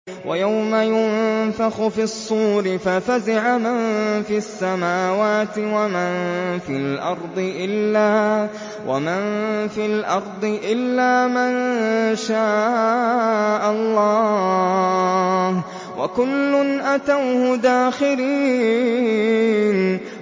وَيَوْمَ يُنفَخُ فِي الصُّورِ فَفَزِعَ مَن فِي السَّمَاوَاتِ وَمَن فِي الْأَرْضِ إِلَّا مَن شَاءَ اللَّهُ ۚ وَكُلٌّ أَتَوْهُ دَاخِرِينَ